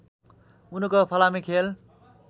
उनको फलामे खेल